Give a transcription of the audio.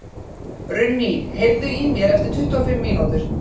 Runný, heyrðu í mér eftir tuttugu og fimm mínútur.